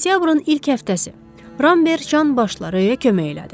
Sentyabrın ilk həftəsi Ramber canbaşları kömək elədi.